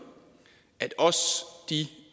at også de